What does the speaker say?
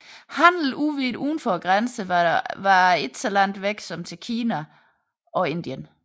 Handel udvidet uden for grænserne var dog så langt væk som til Kina og Indien